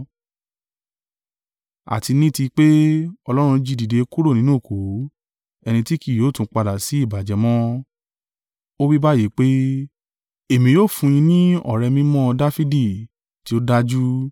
Àti ni tí pé Ọlọ́run jí i dìde kúrò nínú òkú, ẹni tí kì yóò tún padà sí ìbàjẹ́ mọ́, ó wí báyìí pé: “ ‘Èmi ó fún yín ní ọ̀rẹ́ mímọ́ Dafidi, tí ó dájú.’